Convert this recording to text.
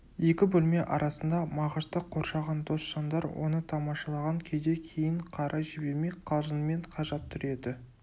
екі бөлме арасында мағышты қоршаған дос жандар оны тамашалаған күйде кейін қарай жібермей қалжыңмен қажап тұр еді